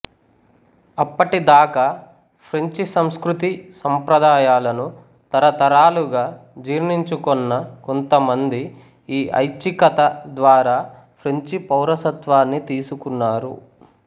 అప్పటి దాకా ఫ్రెంచి సంస్కృతి సంప్రదాయాలను తరతరాలుగా జీ్ర్ణించుకొన్న కొంతమంది ఈ ఐచ్చికత ద్వారా ఫ్రెంచి పౌరసత్వాన్ని తీసుకున్నారు